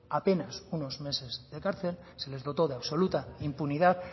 apenas unos meses de cárcel se les dotó de absoluta impunidad